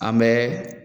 An bɛ